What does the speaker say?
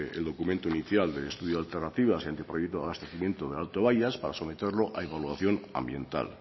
el documento inicial del estudio de alternativas y el anteproyecto de abastecimiento de alto bayas para someterlo a evaluación ambiental